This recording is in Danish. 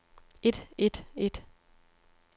et et et